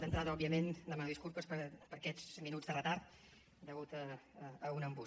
d’entrada òbviament demano disculpes per aquests minuts de retard deguts a un embús